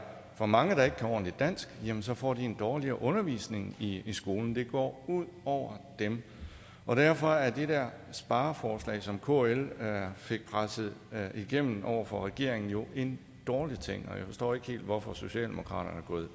for mange der ikke kan ordentligt dansk så får de en dårligere undervisning i skolen det går ud over dem og derfor er det der spareforslag som kl fik presset igennem over for regeringen jo en dårlig ting og jeg forstår ikke helt hvorfor socialdemokratiet